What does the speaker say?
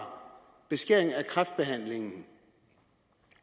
beskæringer af kræftbehandlingen